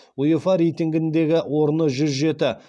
уефа рейтингіндегі орны жүз жеті